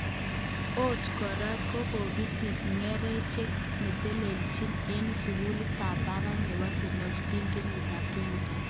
Ot kora kokisich ngecheret netelelchin eng sukulit tab barak nebo st Agustine kenyitab 2013.